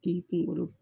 Ni kunkolo